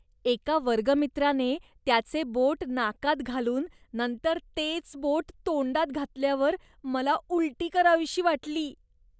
एका वर्गमित्राने त्याचे बोट नाकात घालून नंतर तेच बोट तोंडात घातल्यावर मला उलटी करावीशी वाटली.